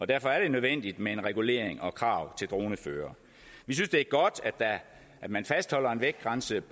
derfor er det nødvendigt med regulering og krav til droneførere vi synes det er godt at man fastholder en vægtgrænse